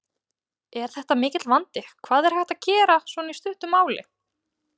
Er þetta mikill vandi, hvað er hægt að gera svona í stuttu máli?